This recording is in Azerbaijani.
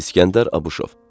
İsgəndər Abuşov.